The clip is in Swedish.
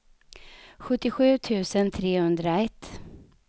sjuttiosju tusen trehundraett